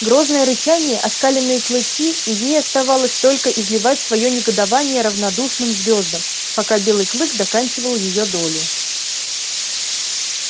грозное рычание оскаленные клыки и ей оставалось только изливать своё негодование равнодушным звёздам пока белый клык доканчивал её долю